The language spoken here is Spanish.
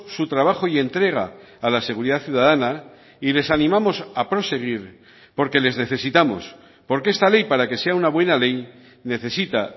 su trabajo y entrega a la seguridad ciudadana y les animamos a proseguir porque les necesitamos porque esta ley para que sea una buena ley necesita